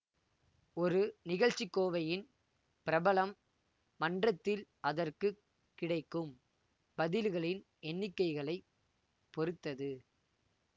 ஒரு நிகழ்ச்சிக் கோவையின் பிரபலம் மன்றத்தில் அதற்கு கிடைக்கும் பதில்களின் எண்ணிக்கைகளைப் பொறுத்தது